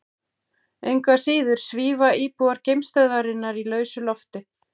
Engu að síður svífa íbúar geimstöðvarinnar í lausu lofti.